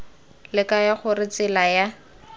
le kaya gore tsela ya